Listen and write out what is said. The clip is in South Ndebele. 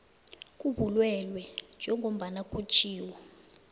kobulwelwe njengombana kutjhiwo